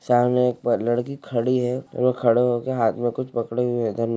सामने एक पर लड़की खडी है वो खड़े हो के हाथ में कुछ पकड़े हुए है धन्य--